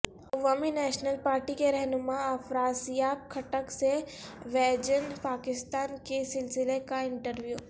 عوامی National Party کے رہنما افراسیاب خٹک سے ویژن پاکستان کے سلسلے کا انٹرویو